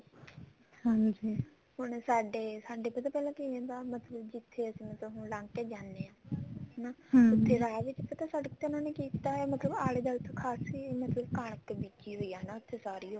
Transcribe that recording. ਹਾਂਜੀ ਹੁਣ ਸਾਡੇ ਸਾਡੇ ਪਹਿਲਾਂ ਪਤਾ ਕਿਵੇਂ ਦਾ ਮਤਲਬ ਜਿੱਥੇ ਅਸੀਂ ਮਤਲਬ ਹੁਣ ਲੰਘ ਕੇ ਜਾਂਦੇ ਹਾਂ ਹਨਾ ਪਤਾ ਸੜਕ ਤੇ ਇਹਨਾ ਨੇ ਕੀਤਾ ਮਤਲਬ ਖਾਸੀ ਉਹ ਕਣਕ ਬੀਜੀ ਹੋਈ ਆ ਉੱਥੇ ਸਾਰੀ ਓ